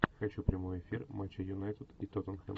хочу прямой эфир матча юнайтед и тоттенхэм